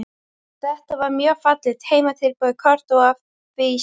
Þetta var mjög fallegt heimatilbúið kort og á því stóð